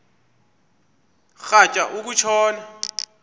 rhatya uku tshona